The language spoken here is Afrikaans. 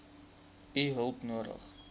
u hulp nodig